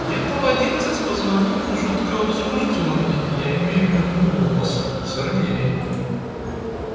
где-то в одиннадцать позвонил жутко возбуждённый я имею в виду голос сергей